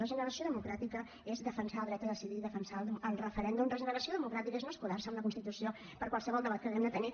regeneració democràtica és defensar el dret a decidir i defensar el referèndum regeneració democràtica és no escudar se en la constitució per qualsevol debat que haguem de tenir